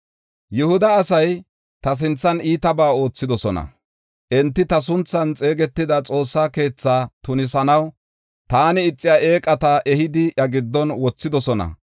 “Yihuda asay ta sinthan iitabaa oothidosona. Enti ta sunthan xeegetida Xoossa keethaa tunisanaw taani ixiya eeqata ehidi iya giddon wothidosona.